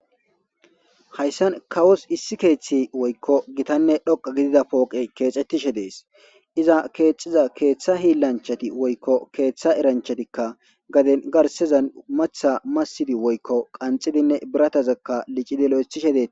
Hayssan kawossu issi keththey woyko giitanne dhoqqa giddida keththey kexxetishe dess iza kexxiza keththa hiilanchchati woyko eranchatikka garsezan masiddi woyko qanxidi birattaza lo'eththishe de'ettes.